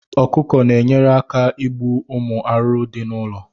Ọkụkọ na enyere aka ịgbu ụmụ arụrụ dị na ụlọ